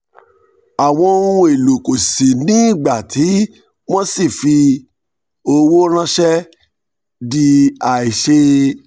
àwọn ohun èlò kò ṣìí ní ìgbà tí wọ́n ṣii fífi owó ránṣẹ́ di àìṣeé.